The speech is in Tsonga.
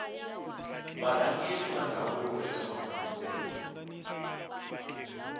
varhangeri va ndhavuko eka mafambiselo